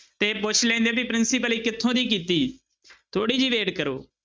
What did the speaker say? ਤੇ ਪੁੱਛ ਲੈਂਦੇ ਵੀ ਪ੍ਰਿੰਸੀਪਲੀ ਕਿੱਥੋਂ ਦੀ ਕੀਤੀ ਥੋੜ੍ਹੀ ਜਿਹੀ wait ਕਰੋ।